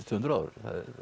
tvö hundruð ár